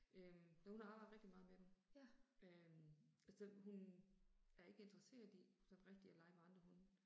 Øh så hun har arbejdet rigtig meget med dem. Øh og så hun er ikke interesseret i sådan rigtig at lege med andre hunde